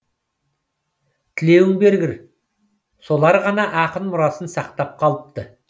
тілеуің бергір солар ғана ақын мұрасын сақтап қалыпты